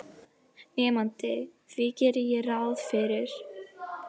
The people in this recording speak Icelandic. Nemandi: Því geri ég ráð fyrir